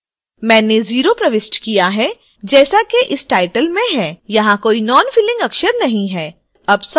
मैंने 0 प्रविष्ट किया है जैसा कि इस title में है यहाँ कोई नॉनफिलिंग अक्षर नहीं है